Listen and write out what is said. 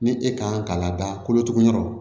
Ni e kan ka lada kolotugu yɔrɔ